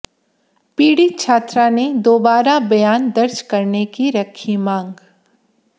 पीड़ित छात्रा ने दोबारा बयान दर्ज करने की रखी मांग